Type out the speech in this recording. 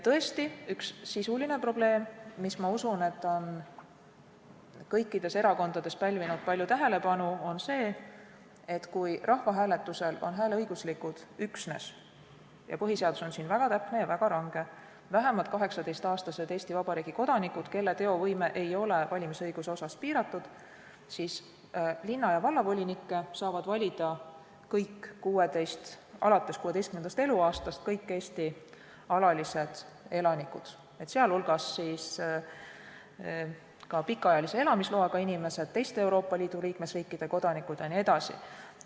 Tõesti, üks sisulisi probleeme, mis, ma usun, on kõikides erakondades pälvinud palju tähelepanu, on see, et kui rahvahääletusel on hääleõiguslikud üksnes – põhiseadus on siin väga täpne ja väga range – vähemalt 18-aastased Eesti Vabariigi kodanikud, kelle teovõime ei ole valimisõiguse osas piiratud, siis linna- ja vallavolinikke saavad valida alates 16. eluaastast kõik Eesti alalised elanikud, sh pikaajalise elamisloaga inimesed, Euroopa Liidu teiste liikmesriikide kodanikud jne.